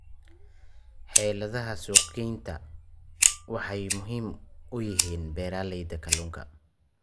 Xeeladaha suuqgeyntu waxay muhiim u yihiin beeralayda kalluunka.